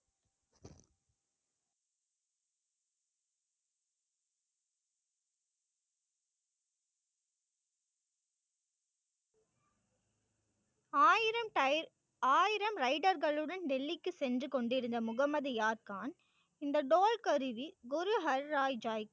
ஆயிரம் ஆயிரம் ரைடர்களுடன் டெல்லிக்கு சென்று கொண்டிருந்த முகமது யாத்கான், இந்த டோல் கருவி குரு ஹர்ராய் ஜாய்க்கு.